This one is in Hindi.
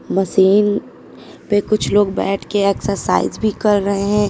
मशीन पे कुछ लोग बैठे के एक्सरसाइज भी कर रहे हैं।